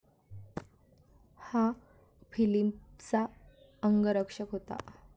हा फिलिपचा अंगरक्षक होता.